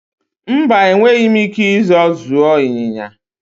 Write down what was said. Mba, enweghị m ike ịzọọ zụọ ịnyịnya.